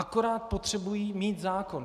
Akorát potřebují mít zákon.